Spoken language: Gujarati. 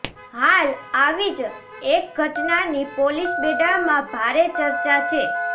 હાલ આવી જ એક ઘટનાની પોલીસબેડામાં ભારે ચર્ચા છે